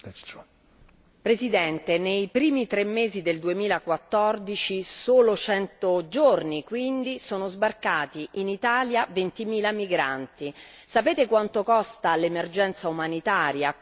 Signor Presidente, onorevoli colleghi, nei prime tre mesi del 2014, in soli cento giorni quindi, sono sbarcati in Italia 20000 migranti. Sapete quanto costa l'emergenza umanitaria?